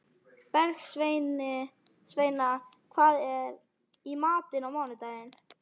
Bergsveina, hvað er í matinn á mánudaginn?